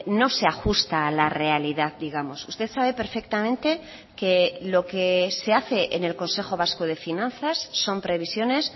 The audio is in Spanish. no se ajusta a la realidad digamos usted sabe perfectamente que lo que se hace en el consejo vasco de finanzas son previsiones